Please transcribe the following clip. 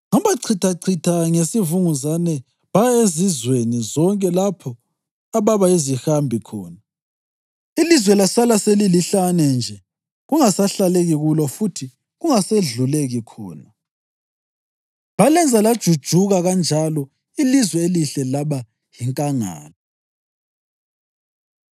‘Ngabachithachitha ngesivunguzane baya ezizweni zonke lapho ababa yizihambi khona. Ilizwe lasala selilihlane nje kungasahlaleki kulo futhi kungasedluleki khona. Balenza lajujuka kanjalo ilizwe elihle laba yinkangala.’ ”